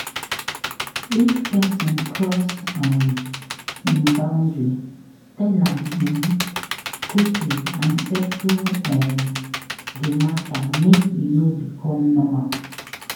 If person cross um in boundary tell am um quickly and settle um di matter make e no become normal